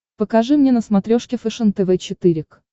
покажи мне на смотрешке фэшен тв четыре к